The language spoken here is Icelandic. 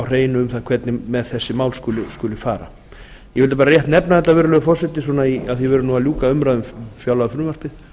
hreinu um það hvernig með þessi mál skuli fara ég vildi bara rétt nefna þetta virðulegur forseti af því að við erum að ljúka umræðu um fjárlagafrumvarpið